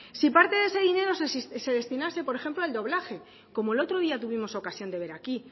si parte de ese dinero se destinase por ejemplo al doblaje como el otro día tuvimos ocasión de ver aquí